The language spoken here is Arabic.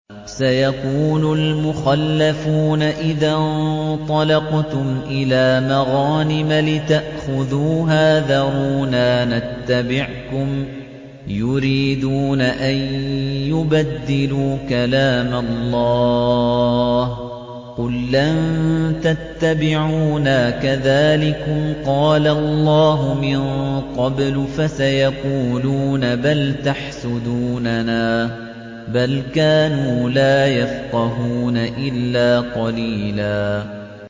سَيَقُولُ الْمُخَلَّفُونَ إِذَا انطَلَقْتُمْ إِلَىٰ مَغَانِمَ لِتَأْخُذُوهَا ذَرُونَا نَتَّبِعْكُمْ ۖ يُرِيدُونَ أَن يُبَدِّلُوا كَلَامَ اللَّهِ ۚ قُل لَّن تَتَّبِعُونَا كَذَٰلِكُمْ قَالَ اللَّهُ مِن قَبْلُ ۖ فَسَيَقُولُونَ بَلْ تَحْسُدُونَنَا ۚ بَلْ كَانُوا لَا يَفْقَهُونَ إِلَّا قَلِيلًا